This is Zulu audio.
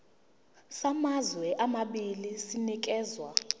samazwe amabili sinikezwa